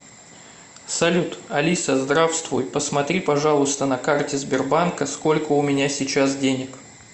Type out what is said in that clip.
салют алиса здравствуй посмотри пожалуйста на карте сбербанка сколько у меня сейчас денег